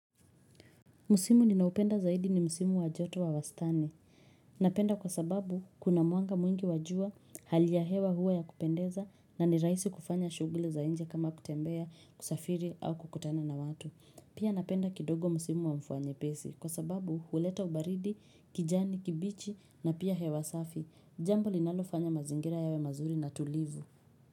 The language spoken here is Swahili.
Msimu ninaoupenda zaidi ni musimu wa joto wa wastani. Napenda kwa sababu kuna mwanga mwingi wajua hali ya hewa hua ya kupendeza na ni rahisi kufanya shuguli za nje kama kutembea kusafiri au kukutana na watu. Pia napenda kidogo musimu wa mfvua nyepesi kwa sababu huleta baridi, kijani kibichi na pia hewa safi. Jambo linalofanya mazingira yawe mazuri na tulivu.